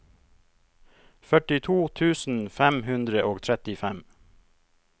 førtito tusen fem hundre og trettifem